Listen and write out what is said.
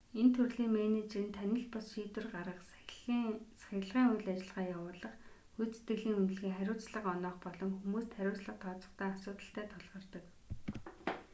энэ төрлийн менежер нь танил бус шийдвэр гаргах сахилгын үйл ажиллагаа явуулах гүйцэтгэлийн үнэлгээ хариуцлага оноох болон хүмүүст хариуцлага тооцохдоо асуудалтай тулгардаг